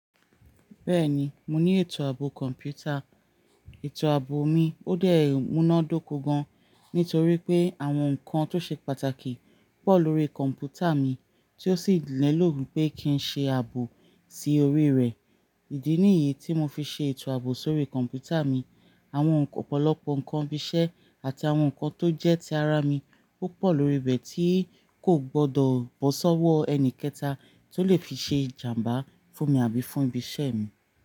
Bẹ́ẹ̀ni, mo ní ètò ààbò kọ̀npútà. Ètò ààbò mi ó dé muná dóko gan-an nítorí pé àwọn nǹkan tó ṣe pàtàkì pọ̀ lórí kọ̀npútà mi tí ó sì nílò wípé kì í ṣe ààbò sí orí rẹ̀. Ìdí nìyí tí mo fi ṣe ètò ààbò sórí kọ̀npútà mi. Àwọn ọ̀pọ̀lọpọ̀ nǹkan ìṣe àti àwọn nǹkan tó jẹ́ ti ara mi púpọ̀ lórí bẹ̀ tí kò gbọdọ̀ bọ́ sọ́wọ́ ẹni kẹta tó lè fi ṣe ìjàǹbá fún mi àbí fún ibi iṣẹ́ mi.